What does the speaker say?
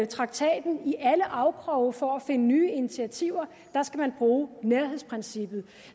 traktaten i alle afkroge for at finde nye initiativer der skal man bruge nærhedsprincippet